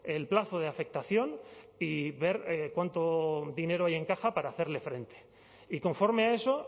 el plazo de afectación y ver cuánto dinero hay en caja para hacerle frente y conforme a eso